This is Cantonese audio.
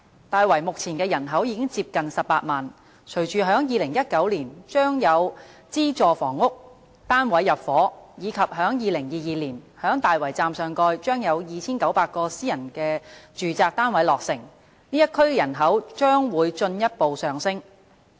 大圍目前的人口已接近18萬，隨着在2019年將有資助房屋單位入伙，以及在2022年在大圍站上蓋將有2900個私人住宅單位落成，該區人口將會進一步上升。